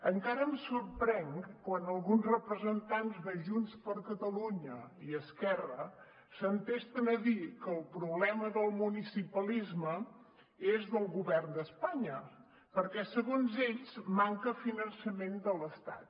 encara em sorprèn quan alguns representants de junts per catalunya i esquerra s’entesten a dir que el problema del municipalisme és del govern d’espanya perquè segons ells manca finançament de l’estat